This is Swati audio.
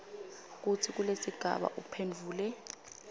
kutsi kulesigaba uphendvule